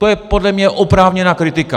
To je podle mě oprávněná kritika.